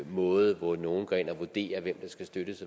måde hvor nogle går ind og vurderer hvem der skal støttes